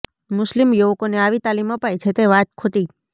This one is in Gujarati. મુસ્લિમ યુવકોને આવી તાલીમ અપાય છે તે વાત ખોટી